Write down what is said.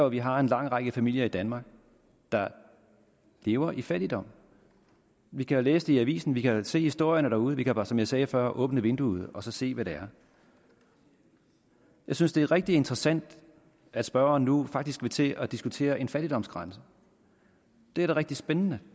at vi har en lang række familier i danmark der lever i fattigdom vi kan jo læse det avisen vi kan se historierne derude vi kan bare som jeg sagde før åbne vinduet og se hvad det er jeg synes det er rigtig interessant at spørgeren nu faktisk vil til at diskutere en fattigdomsgrænse det er da rigtig spændende